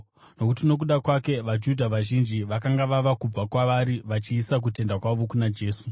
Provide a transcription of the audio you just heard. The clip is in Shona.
nokuti nokuda kwake, vaJudha vazhinji vakanga vava kubva kwavari vachiisa kutenda kwavo kuna Jesu.